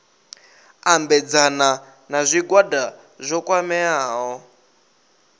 ambedzana na zwigwada zwo kwameaho